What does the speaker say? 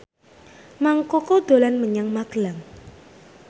Mang Koko dolan menyang Magelang